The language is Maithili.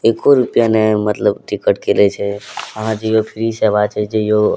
एको रुपिया ने मतलब टिकट के लय छै आहां जाईयो फ्री सेवा छै जाईयो --